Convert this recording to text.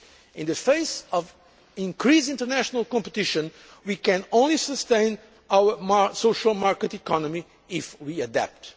In the face of increased international competition, we can only sustain our social market economy if we adapt.